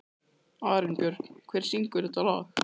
Arinbjörn, hver syngur þetta lag?